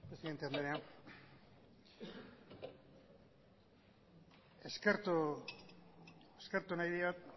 presidente andrea eskertu nahi diot